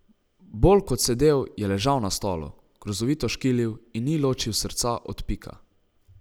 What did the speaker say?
Bolj kot sedel, je ležal na stolu, grozovito škilil in ni ločil srca od pika.